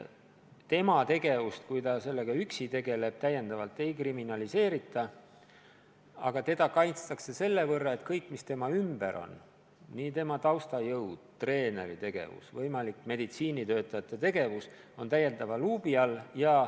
Kui ta on tegutsenud üksi, siis tema tegevust täiendavalt ei kriminaliseerita, aga teda kaitstakse sellega, et kõik, mis tema ümber toimub – tema taustajõud, treeneri tegevus, võimalik meditsiinitöötajate tegevus –, on täiendava luubi all.